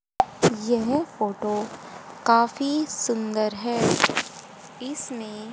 यह फोटो काफी सुंदर है इसमें--